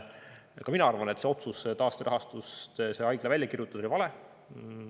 Ka mina arvan, et otsus taasterahastust see haigla välja kirjutada oli vale.